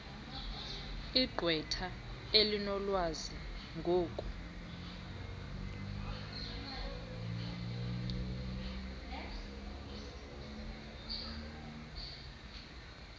igqwetha elinolwazi ngoku